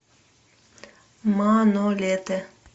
манолете